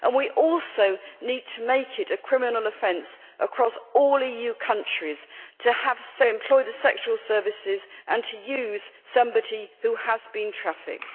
We also need to make it a criminal offence across all EU countries to employ the sexual services of, and to use, somebody who has been trafficked.